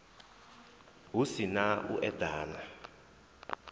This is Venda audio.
hu si na u eḓana